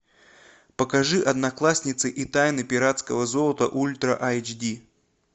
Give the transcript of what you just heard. покажи одноклассницы и тайна пиратского золота ультра айч ди